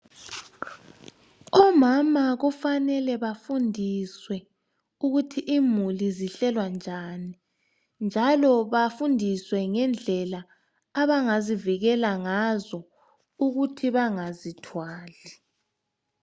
Omama kufanele befundiswe ukuthi imuli zihlelwa njani, njalo bafundiswe ngendlela abangazivikela ngazo ukuthi bengazithwali.